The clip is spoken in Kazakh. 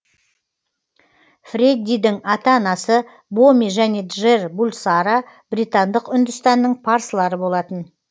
фреддидің ата анасы боми және джер булсара британдық үндістанның парсылары болатын